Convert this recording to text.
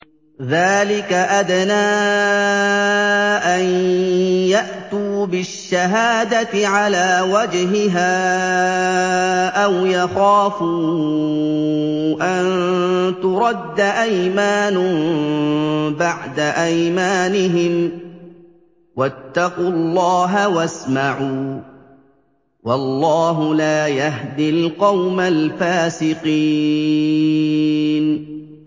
ذَٰلِكَ أَدْنَىٰ أَن يَأْتُوا بِالشَّهَادَةِ عَلَىٰ وَجْهِهَا أَوْ يَخَافُوا أَن تُرَدَّ أَيْمَانٌ بَعْدَ أَيْمَانِهِمْ ۗ وَاتَّقُوا اللَّهَ وَاسْمَعُوا ۗ وَاللَّهُ لَا يَهْدِي الْقَوْمَ الْفَاسِقِينَ